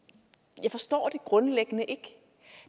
jeg forstår det grundlæggende ikke